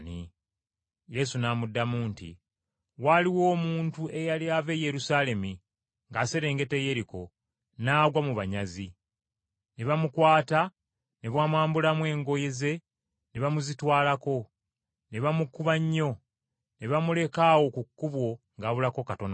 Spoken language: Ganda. Yesu n’amuddamu nti, “Waaliwo omuntu eyali ava e Yerusaalemi ng’aserengeta e Yeriko, n’agwa mu banyazi, ne bamukwata ne bamwambulamu engoye ze ne bazimutwalako, ne bamukuba nnyo, ne bamuleka awo ku kkubo ng’abulako katono okufa.